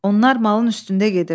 Onlar malın üstündə gedir.